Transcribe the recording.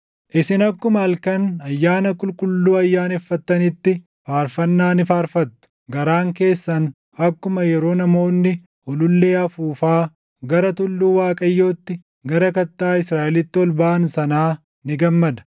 Isin akkuma halkan ayyaana qulqulluu ayyaaneffattanitti, faarfannaa ni faarfattu; garaan keessan akkuma yeroo namoonni ulullee afuufaa gara tulluu Waaqayyootti, gara Kattaa Israaʼelitti ol baʼan sanaa ni gammada.